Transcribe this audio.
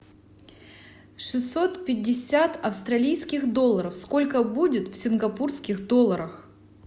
шестьсот пятьдесят австралийских долларов сколько будет в сингапурских долларах